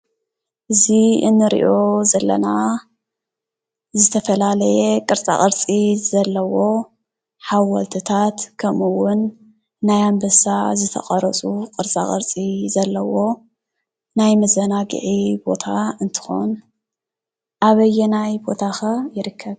እዚ እንሪኦ ዘለና ዝተፈላለየ ቅርፃ ቅርፂ ዘለዎ ሓወልትታት ከምኡ እውን ናይ ኣንበሳ ዝተቀረፁ ቅርፃቅርፂ ዘለዎ ናይ መዘናጊዒ ቦታ እንትኮን አበየናይ ቦታ ከ ይርከብ?